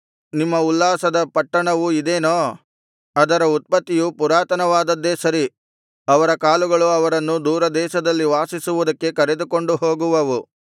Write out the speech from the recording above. ನಿಮ್ಮ ಉಲ್ಲಾಸದ ಪಟ್ಟಣವು ಇದೇನೋ ಅದರ ಉತ್ಪತ್ತಿಯು ಪುರಾತನವಾದದ್ದೇ ಸರಿ ಅವರ ಕಾಲುಗಳು ಅವರನ್ನು ದೂರ ದೇಶದಲ್ಲಿ ವಾಸಿಸುವುದಕ್ಕೆ ಕರೆದುಕೊಂಡು ಹೋಗುವವು